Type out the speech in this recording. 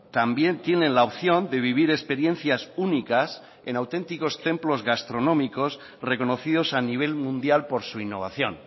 también tienen la opción de vivir experiencias únicas en auténticos templos gastronómicos reconocidos a nivel mundial por su innovación